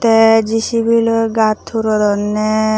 te jisibi loi gat huronne.